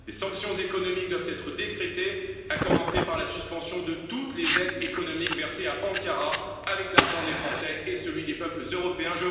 Des sanctions économiques doivent être décrétées, à commencer par la suspension de toutes les aides économiques versées à Ankara avec l'argent des Français et celui des peuples européens.